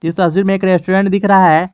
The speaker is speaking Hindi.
इस तस्वीर में एक रेस्टोरेंट दिख रहा है।